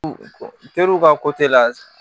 Teriw ka la